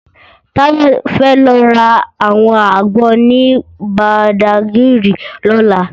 Tayo fè lò rá áwòn ágbòn ni Bàdágiri lòlá